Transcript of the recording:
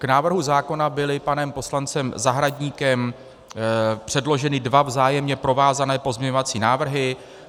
K návrhu zákona byly panem poslancem Zahradníkem předloženy dva vzájemně provázané pozměňovací návrhy.